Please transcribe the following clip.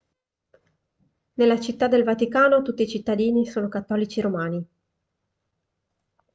nella città del vaticano tutti i cittadini sono cattolici romani